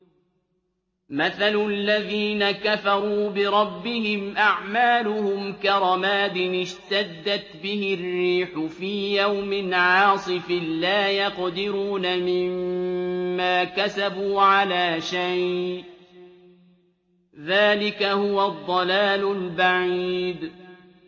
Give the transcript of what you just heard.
مَّثَلُ الَّذِينَ كَفَرُوا بِرَبِّهِمْ ۖ أَعْمَالُهُمْ كَرَمَادٍ اشْتَدَّتْ بِهِ الرِّيحُ فِي يَوْمٍ عَاصِفٍ ۖ لَّا يَقْدِرُونَ مِمَّا كَسَبُوا عَلَىٰ شَيْءٍ ۚ ذَٰلِكَ هُوَ الضَّلَالُ الْبَعِيدُ